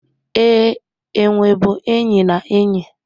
Ee, enwe bụ enyi na enyi